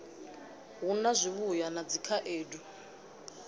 hu na zwivhuya na dzikhaedu